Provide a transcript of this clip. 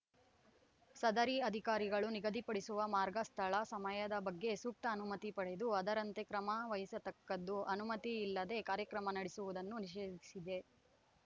ಸದರಿ ಅಧಿಕಾರಿಗಳು ನಿಗದಿಪಡಿಸುವ ಮಾರ್ಗ ಸ್ಥಳ ಸಮಯದ ಬಗ್ಗೆ ಸೂಕ್ತ ಅನುಮತಿ ಪಡೆದು ಅದರಂತೆ ಕ್ರಮವಹಿಸತಕ್ಕದ್ದು ಅನುಮತಿ ಇಲ್ಲದೇ ಕಾರ್ಯಕ್ರಮ ನಡೆಸುವುದನ್ನು ನಿಷೇಧಿಸಿದೆ